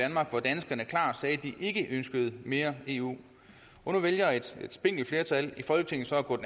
ikke ønskede mere eu nu vælger et spinkelt flertal i folketinget så at gå